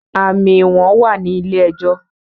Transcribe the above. àmì ìwọ̀n wà ní ilé ẹjọ́